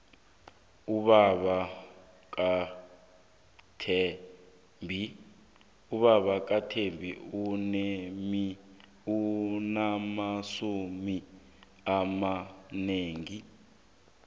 ubaba kathembi unamasudu amanengi